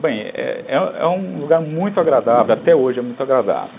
Bem, é um lugar muito agradável, até hoje é muito agradável.